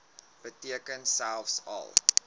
beteken selfs al